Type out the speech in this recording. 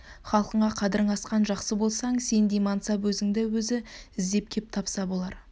халқыңа қадірің асқан жақсы болсаң сендей мансап өзіңді өзі іздеп кеп тапса болар